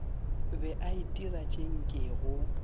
be a itira tše nkego